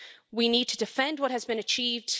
We need to defend what has been achieved.